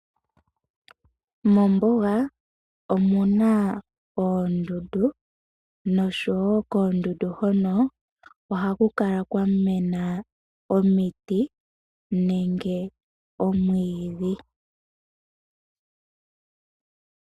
Moombuga omuna oondundu noshowo koondundu hono ohaku kala kwamena omiti nenge omwiidhi